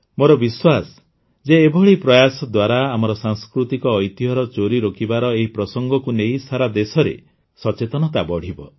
ମୋର ବିଶ୍ୱାସ ଯେ ଏଭଳି ପ୍ରୟାସ ଦ୍ୱାରା ଆମର ସାଂସ୍କୃତିକ ଐତିହ୍ୟର ଚୋରି ରୋକିବାର ଏହି ପ୍ରସଙ୍ଗକୁ ନେଇ ସାରା ଦେଶରେ ସଚେତନତା ବଢ଼ିବ